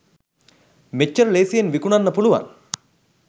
මෙච්චර ලේසියෙන් විකුනන්න පුළුවන්